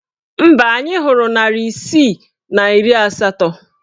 Mba, anyị hụrụ narị isii na iri asatọ.